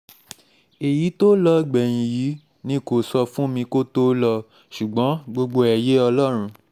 èyí tó lọ gbẹ̀yìn yìí nìkan ni kò sọ fún mi kó tóó lọ ṣùgbọ́n gbogbo ẹ̀ yé ọlọ́run